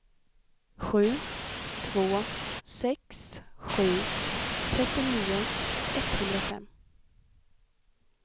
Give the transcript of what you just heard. sju två sex sju trettionio etthundrafem